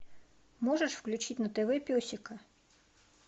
можешь включить на тв песика